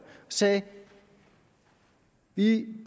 sagde at de